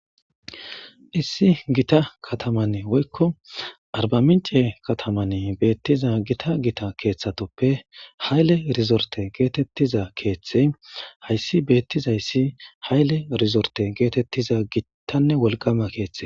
Issi giththa kaththamanne aribaminche kaththamanne he beththizza giththa giththa keththathuppe ha'iyle resoritte gettetizza keththi haysi betizayissi ha'iyle resoritte gettetizza gittanne wolqqama keththa.